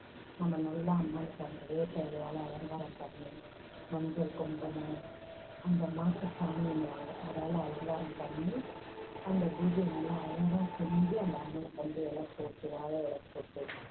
நம்ம நல்லா அம்மனுக்கு அந்த வேப்ப இலையால அலங்காரம் பண்ணி. மஞ்சள், குங்குமம், அந்த மாட்டு சாணின்னுவாங்க, அதால அலங்காரம் பண்ணி அந்த பூஜையை நல்லா அழகா செஞ்சு அந்த அம்மனுக்கு வந்து இலை போட்டு, வாழை இலை போட்டு